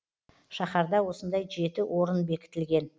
шаһарда осындай жеті орын бекітілген